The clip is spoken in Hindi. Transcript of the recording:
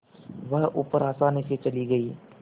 वह ऊपर आसानी से चली गई